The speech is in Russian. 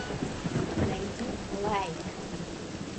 найди лайк